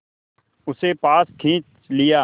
उसे पास खींच लिया